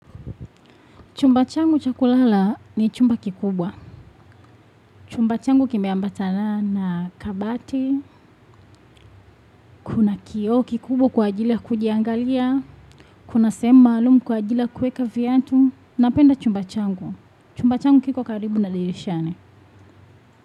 Chumba changu cha kulala ni chumba kikubwa. Chumba changu kimeambatana na kabati. Kuna kioo kikubwa kwa ajili ya kujiangalia. Kuna sehemu maalumu kwaajila ya kuweka viatu. Napenda chumba changu. Chumba changu kikokaribu na dirishani.